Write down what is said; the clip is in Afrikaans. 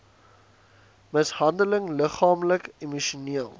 mishandeling liggaamlik emosioneel